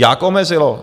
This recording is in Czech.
Jak omezilo?